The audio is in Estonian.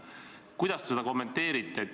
Kuidas te seda kommenteerite?